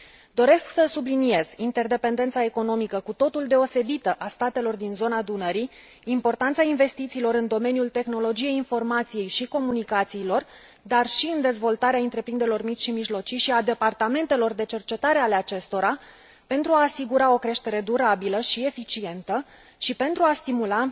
Doresc să subliniez interdependența economică cu totul deosebită a statelor din zona Dunării, importanța investițiilor în domeniul tehnologiei informației și comunicațiilor, dar și în dezvoltarea întreprinderilor mici și mijlocii și a departamentelor de cercetare ale acestora, pentru a asigura o creștere durabilă și eficientă și pentru a stimula